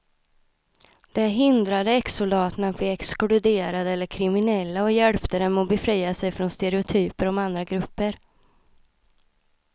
Det hindrade exsoldaterna att bli exkluderade eller kriminella och hjälpte dem att befria sig från stereotyper om andra grupper.